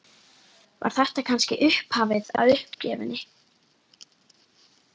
Var þetta kannski upphafið að uppgjöfinni?